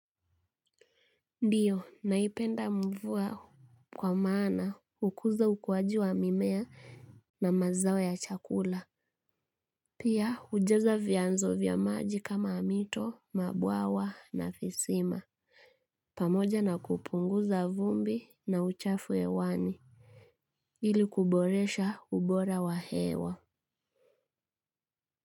Ndiyo naipenda mvua kwa maana hukuza ukuaji wa mimea na mazao ya chakula. Pia hujaza vianzo vya maji kama mito, mabwawa na visima. Pamoja na kupunguza vumbi na uchafu hewani. Ili kuboresha ubora wa hewa.